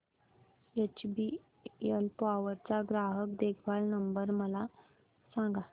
HBL power चा ग्राहक देखभाल नंबर मला सांगा